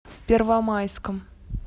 первомайском